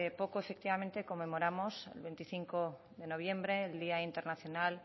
poco efectivamente conmemoramos el veinticinco de noviembre el día internacional